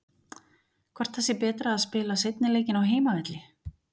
Hvort það sé betra að spila seinni leikinn á heimavelli?